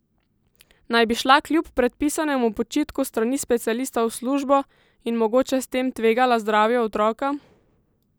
Naj bi šla kljub predpisanemu počitku s strani specialista v službo in mogoče s tem tvegala zdravje otroka?